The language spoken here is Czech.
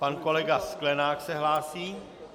Pan kolega Sklenák se hlásí.